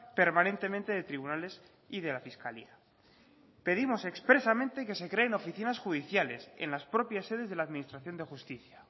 permanentemente de tribunales y de la fiscalía pedimos expresamente que se creen oficinas judiciales en las propias sedes de la administración de justicia